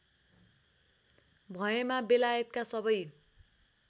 भएमा बेलायतका सबै